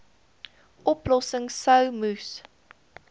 oplossings sou moes